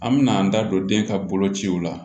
An mɛna an da don den ka bolociw la